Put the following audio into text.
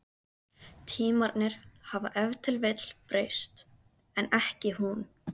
Tímarnir hafa ef til vill breyst, en ekki hún.